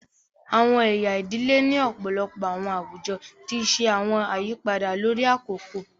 Awọn ẹya ìdílé ni ọpọlọpọ awọn awujọ ti ṣe awọn àyípadà lórí akoko